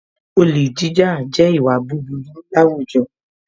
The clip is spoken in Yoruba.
Olè jíjà jẹ́ ìwà búburú láwùjọ